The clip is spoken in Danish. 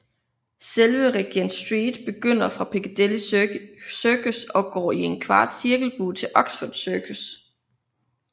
Selve Regent Street begynder fra Piccadilly Circus og går i en kvart cirkelbue til Oxford Circus